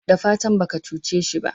dafatan baka cuce shi ba?